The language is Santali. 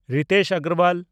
ᱨᱤᱛᱷᱮᱥ ᱟᱜᱚᱨᱣᱟᱞ